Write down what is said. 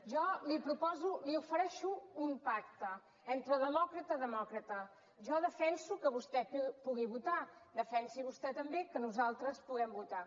jo li proposo li ofereixo un pacte entre demòcrata i demòcrata jo defenso que vostè pugui votar defensi vostè també que nosaltres puguem votar